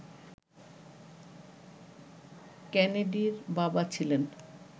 কেনেডির বাবা ছিলেন